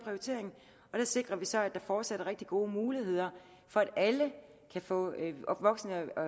sikrer så at der fortsat er rigtig gode muligheder for at alle kan få en voksen og